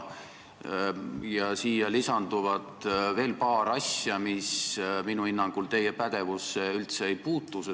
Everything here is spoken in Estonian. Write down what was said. Siia lisanduvad veel paar asja, mis minu hinnangul teie pädevusse üldse ei kuulu.